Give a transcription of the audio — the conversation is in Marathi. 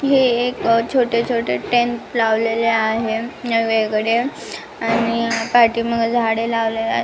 हे एक छोटे छोटे टेन्ट लावलेले आहेत आले वेगवेगळे आणि पाठीमागे झाडे लावलेले आहे.